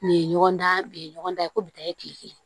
Nin ye ɲɔgɔn dan nin ye ɲɔgɔn dan ye ko bi ta ye kile kelen